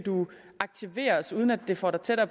aktiveres uden at det får dig tættere